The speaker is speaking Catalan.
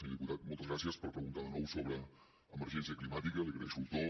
senyor diputat moltes gràcies per preguntar de nou sobre emergència climàtica li agraeixo el to